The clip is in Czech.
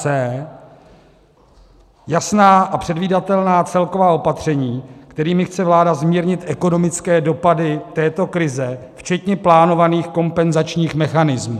c) jasná a předvídatelná celková opatření, kterými chce vláda zmírnit ekonomické dopady této krize, včetně plánovaných kompenzačních mechanismů;